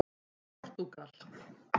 Portúgal